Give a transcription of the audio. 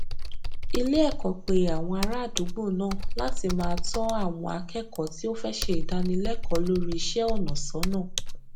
ilé èkó pe àwọn ará àdúgbò náà láti máa tó àwọn akékòó tí ó fẹ ṣe ìdánilékòó lórí iṣéònà sónà